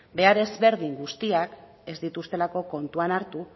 behar ezberdin guztiak ez dituztelako kontuan hartu